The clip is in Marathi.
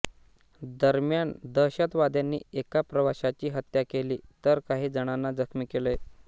दरम्यान दहशतवाद्यांनी एका प्रवाशाची हत्या केली तर काही जणांना जखमी केले